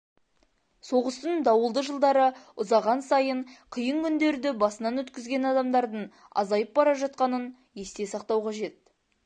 соғыстың дауылды жылдары ұзаған сайын қиын күндерді басынан өткізген адамдардың азайып бара жатқанын есте сақтау қажет